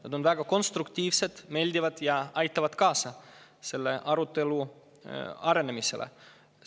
Need on väga konstruktiivsed ja meeldivad ning aitavad kaasa arutelu arenemisele.